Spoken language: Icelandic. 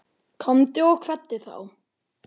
Komdu og kveddu þá.